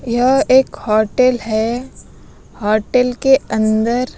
यह एक होटल है होटल के अंदर--